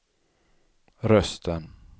rösten